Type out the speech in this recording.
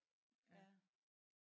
Ja